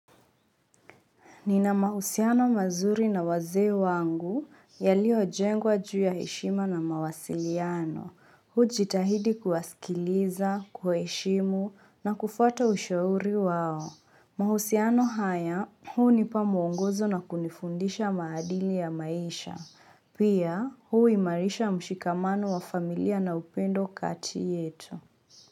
Ninamahusiano mazuri na waze wangu, yalio jengwa juu ya heshima na mawasiliano. Mimi hujitahidi kuwasikiliza, kuwaheshimu, na kufwata ushauri wao. Mahusiano haya, hunipa mwongozo na kunifundisha maadili ya maisha. Pia, huimarisha mshikamano wa familia na upendo kati yetu.